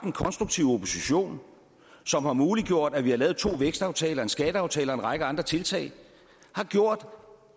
en konstruktiv opposition som har muliggjort at vi har lavet to vækstaftaler og en skatteaftale og en række andre tiltag har gjort